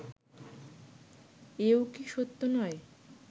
এও কি সত্য নয়